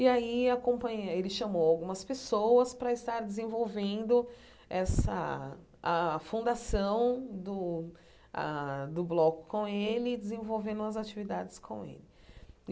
E aí a companhia ele chamou algumas pessoas para estar desenvolvendo essa a fundação do ah do bloco com ele e desenvolvendo as atividades com ele.